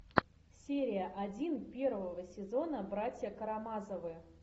серия один первого сезона братья карамазовы